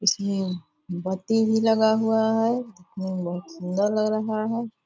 इसमें बत्ती भी लगा हुआ है दिखने में बहुत सुंदर लग रहा है।